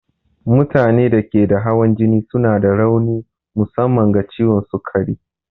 Mutanen da ke da hawan jini suna da rauni musamman ga ciwon sukari.